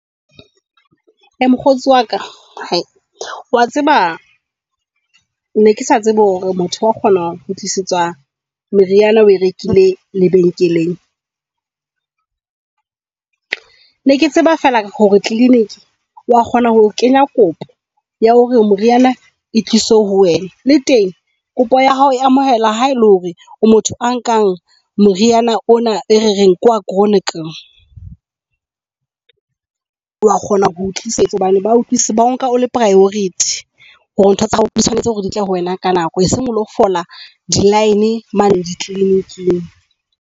Mokgotsi waka hae, wa tseba ne kesa tsebe hore motho wa kgona ho kgutlisetswa meriana oe rekile lebenkeleng. Ne ke tseba fela hore clinic wa kgona ho kenya kopo ya hore moriana e tlise ho wena le teng kopo ya hao e amohela ha ele hore o motho a nkang moriana ona e re reng ke wa chronic. Wa kgona ho o tlisetswa hobane ba utlwisetswa hobane ba o nka o le priority hore ntho tsa hao di tshwanetse hore ditle ho wena ka nako e seng o lo fola di line mane dikliniking.